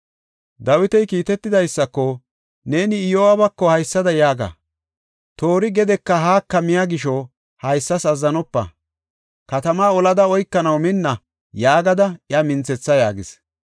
Dawiti kiitetidaysako, “Neeni Iyo7aabako haysada yaaga; ‘Toori gedeka haaka miya gisho haysas azzanopa; katamaa olada oykanaw minna’ yaagada iya minthetha” yaagis.